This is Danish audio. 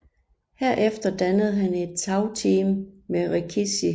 Herefter dannede han et tag team med Rikishi